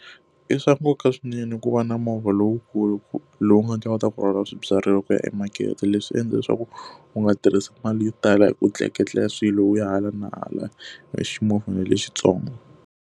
I swa nkoka swinene ku va na movha lowukulu lowu nga ta kota ku rhwala swibyariwa ku ya emakete, leswi endla leswaku u nga tirhisi mali yo tala hi ku tleketla swilo u ya hala na hala hi ximovhana lexintsongo.